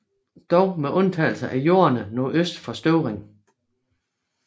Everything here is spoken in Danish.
Dog med undtagelse af jorderne nordøst for Støvring